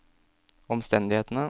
omstendighetene